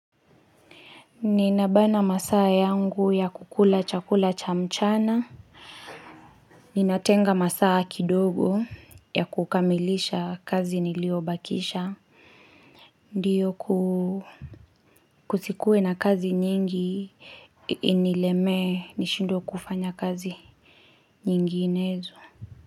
Ninabana masaa yangu ya kukula chakula cha mchana Ninatenga masaa kidogo ya kukamilisha kazi niliyobakisha Ndiyo kuu Kusikuwe na kazi nyingi inilemee nishindwe kufanya kazi nyinginezo.